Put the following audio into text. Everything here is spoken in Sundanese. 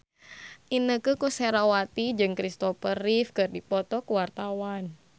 Inneke Koesherawati jeung Christopher Reeve keur dipoto ku wartawan